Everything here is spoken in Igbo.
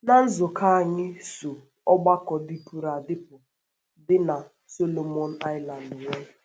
Ná nzukọ anyị so ọgbakọ dịpụrụ adịpụ dị na Solomon Islands nwee